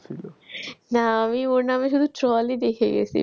না আমি ওর নামে শুধু troll ই দেখে গেছি।